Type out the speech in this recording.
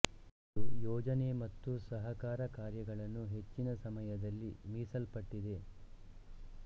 ಇದು ಯೊಜನೆ ಮತ್ತು ಸಹಕಾರ ಕಾರ್ಯಗಳನ್ನು ಹೆಚ್ಚಿನ ಸಮಯದಲ್ಲಿ ಮೀಸಲ್ಪಟ್ಟಿದೆ